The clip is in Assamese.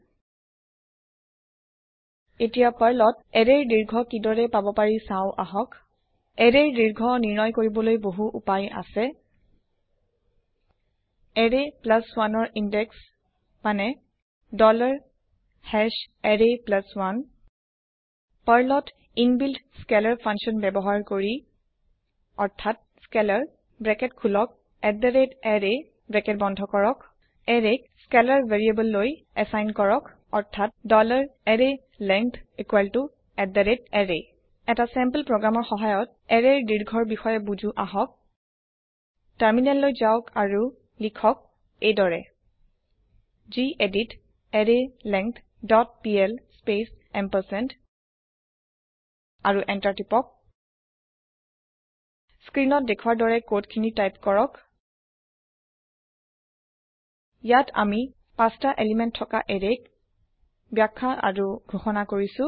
পাৰ্লত এৰেয়ৰ দীৰ্ঘ কিদৰে পাব পাৰি চাও আহক এতিয়া পাৰ্লত এৰেৰ দীৰ্ঘ কি দৰে পাব পাৰি চাও আহক এৰেৰ দিৰ্ঘ নিৰ্ণয় কৰিবলৈ বহু উপায় আছে এৰে 1 ৰ ইনদেক্স মানে array 1 পাৰ্লৰ ইনবিল্ত স্কেলাৰ ফাংচন অৰ্থাৎ স্কেলাৰ ব্ৰেকেট খোলক array ব্ৰেকেট বন্ধ কৰক এৰেক স্কেলাৰ variableলৈ এচাইন কৰক অৰ্থাৎ arrayLength array এটা চেম্পল প্ৰগ্ৰেমৰ সহায়ত এৰেয় দীৰ্ঘৰ বিষয়ে বুজো আহক টাৰমিনেল যাওক আৰু লিখক এইদৰে gedit array length dot PL space ampersand আৰু এন্টাৰ টিপক স্ক্ৰীণত দেখোৱাৰ দৰে কদ খিনি টাইপ কৰক ইয়াত আমি ৫টা পদাৰ্থ থকা এৰেযক বাখ্যা আৰু ঘোষনা কৰিছো